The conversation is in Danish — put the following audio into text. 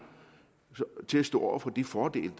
til at stå over for de fordele